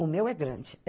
O meu é grande.